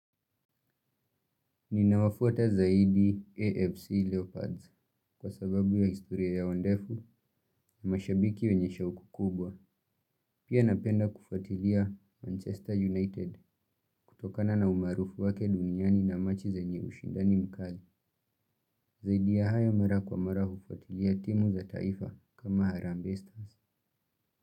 Ninawafuata zaidi AFC Leopards kwa sababu ya historia yao ndefu na mashabiki wenye shauku kubwa. Pia napenda kufuatilia Manchester United kutokana na umaarufu wake duniani na machi zenye ushindani mkali. Zaidi ya hayo mara kwa mara hufuatilia timu za taifa kama harambee stars.